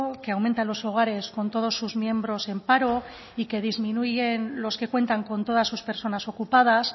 que aumentan los hogares con todos sus miembros en paro y que disminuyen los que cuentan con todas sus personas ocupadas